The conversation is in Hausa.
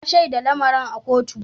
Na shaida lamarin a kotu.